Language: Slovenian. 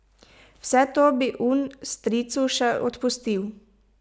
Vse to bi Un stricu še odpustil.